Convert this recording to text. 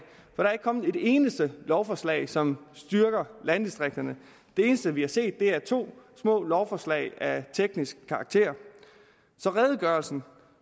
der er ikke kommet et eneste lovforslag som styrker landdistrikterne det eneste vi har set er to små lovforslag af teknisk karakter så redegørelsen